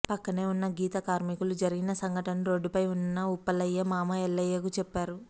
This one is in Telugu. పక్కనే ఉన్న గీత కార్మికులు జరిగిన సంఘటనను రోడ్డుపై ఉన్న ఉప్పలయ్య మామ ఎల్లయ్యకు చెప్పారు